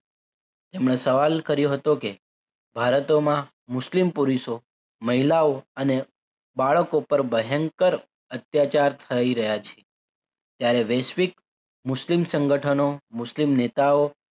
એમણે સવાલ કર્યો હતો કે ભારતમાં મુસ્લિમ પુરુષો મહિલાઓ અને બાળકો પર ભયંકર અત્યાચારો થઈ રહ્યા છે ત્યારે વૈશ્વિક મુસ્લિમ સંગઠનો મુસ્લિમ નેતાઓ